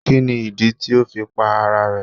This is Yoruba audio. Kí ni ìdí tí o fi pa ara rẹ̀.?